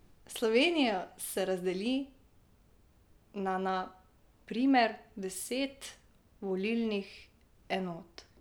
Slovenijo se razdeli na na primer deset volilnih enot.